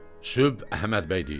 Sübh Əhməd bəy deyir.